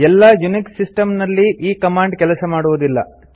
ಎಲ್ಲಾ Unix system ನಲ್ಲಿ ಈ ಕಮಾಂಡ್ ಕೆಲಸ ಮಾಡುವುದಿಲ್ಲ